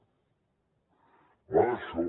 va d’això